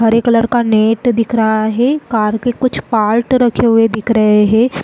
हरे colour का net दिख रहा है कार के कुछ पार्ट रखे हुए दिख रहे हैं।